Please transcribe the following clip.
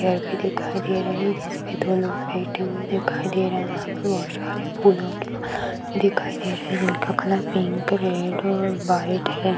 भी दिखाई दे रहे है जिस पे दो लोग बैठे हुए दिखाई दे रहे है यहाँ पे बहुत सारे फूलों के बाग भी दिखाई दे रहे है जिनका कलर पिंक रेड और व्हाइट है।